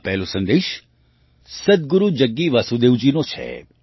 આ પહેલો સંદેશ સદ્ગુરુ જગ્ગી વાસુદેવજીનો છે